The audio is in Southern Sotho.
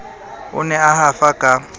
o ne a hafa ka